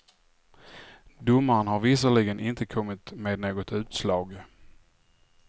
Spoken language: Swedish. Domaren har visserligen inte kommit med något utslag.